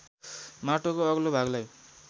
माटोको अग्लो भागलाई